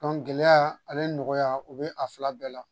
gɛlɛya ale nɔgɔya o be a fila bɛɛ la